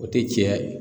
O tɛ cɛya ye